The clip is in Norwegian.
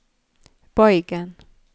bøygen